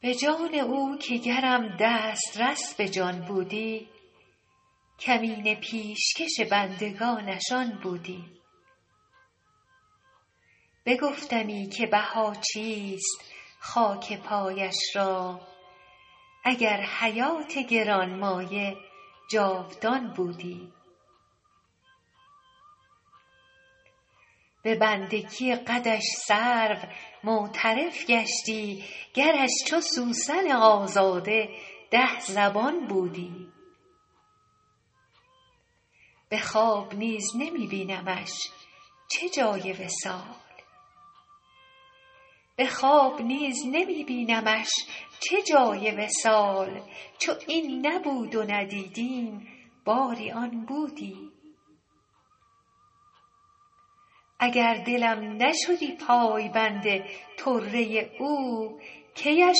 به جان او که گرم دسترس به جان بودی کمینه پیشکش بندگانش آن بودی بگفتمی که بها چیست خاک پایش را اگر حیات گران مایه جاودان بودی به بندگی قدش سرو معترف گشتی گرش چو سوسن آزاده ده زبان بودی به خواب نیز نمی بینمش چه جای وصال چو این نبود و ندیدیم باری آن بودی اگر دلم نشدی پایبند طره او کی اش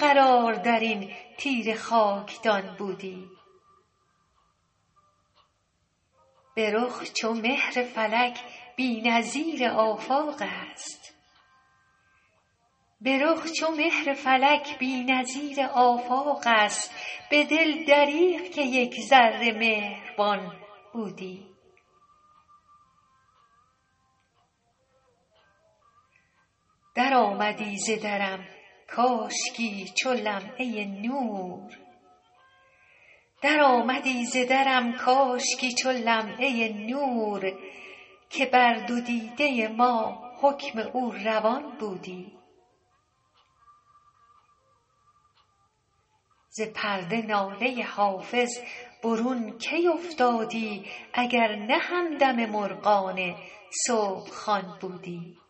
قرار در این تیره خاکدان بودی به رخ چو مهر فلک بی نظیر آفاق است به دل دریغ که یک ذره مهربان بودی درآمدی ز درم کاشکی چو لمعه نور که بر دو دیده ما حکم او روان بودی ز پرده ناله حافظ برون کی افتادی اگر نه همدم مرغان صبح خوان بودی